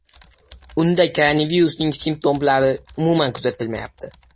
Unda koronavirusning simptomlari umuman kuzatilmayapti.